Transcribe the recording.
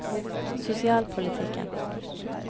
sosialpolitikken